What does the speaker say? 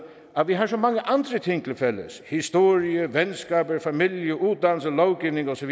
at vi har så mange andre ting til fælles historie venskaber familier uddannelse lovgivning og så